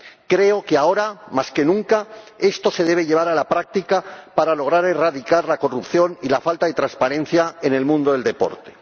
Creo que ahora, más que nunca, esto se debe llevar a la práctica para lograr erradicar la corrupción y la falta de transparencia en el mundo del deporte.